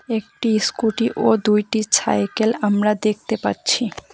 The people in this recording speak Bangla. একটি স্কুটি ও দুইটি ছাইকেল আমরা দেখতে পাচ্ছি।